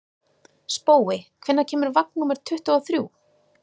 Spói, hvenær kemur vagn númer tuttugu og þrjú?